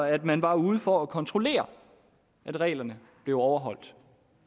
at man var ude for at kontrollere at reglerne blev overholdt